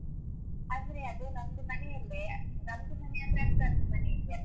ಅಂದ್ರೆ ಅದು ನಮ್ದು ಮನೆಯಲ್ಲೇ ನಮ್ದು ಮನೆಯಂದ್ರೆ ಅಕ್ಕಂದು ಮನೆ ಇದ್ಯಲ್ಲ?